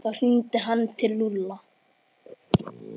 Þá hringdi hann til Lúlla.